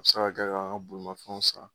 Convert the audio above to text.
A saraka an bolofɛn san